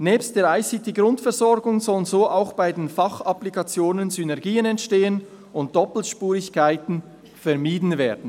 Nebst der ICT-Grundversorgung sollen so auch bei den Fachapplikationen Synergien entstehen und Doppelspurigkeiten vermieden werden.